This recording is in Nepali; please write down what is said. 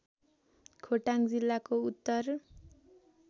खोटाङ जिल्लाको उत्तर